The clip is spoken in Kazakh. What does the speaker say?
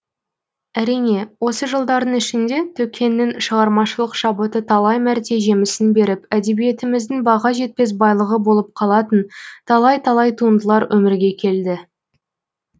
әрине осы жылдардың ішінде төкеңнің шығармашылық шабыты талай мәрте жемісін беріп әдебиетіміздің баға жетпес байлығы болып қалатын талай талай туындылар өмірге келді